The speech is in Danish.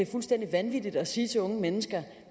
fuldstændig vanvittigt at sige til unge mennesker